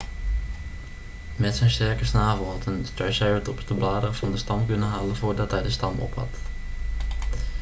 met zijn sterke snavel had een triceratops de bladeren van de stam kunnen halen voordat hij de stam opat